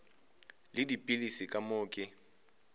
le dipilisi ka moo ke